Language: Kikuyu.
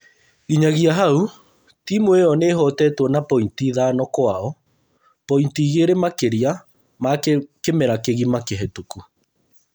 Nginyagia hau timũ ĩyo nĩĩhotetwo na pointi ithano kwao, pointi igĩrĩ makĩria ma kĩmera kĩgima kĩhetũku